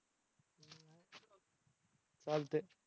चालतंय.